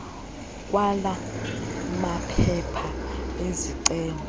kwala maphepha ezicelo